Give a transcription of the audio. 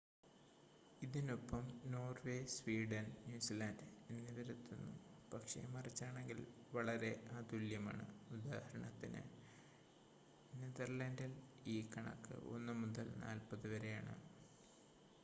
ഇതിനൊപ്പം Norway Sweden‍ New Zealand എന്നിവരെത്തുന്നു പക്ഷേ മറിച്ചാണെങ്കില്‍ വളരെ അതുല്യമാണ്‌ ഉദാഹരണത്തിന്‌ നെതര്‍ലാന്‍റ്സില്‍ ഈ കണക്ക് 1 മുതല്‍ നാല്‍പത് വരെയാണ്‌